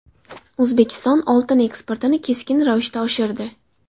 O‘zbekiston oltin eksportini keskin ravishda oshirdi.